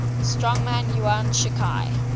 strongman yuan shikai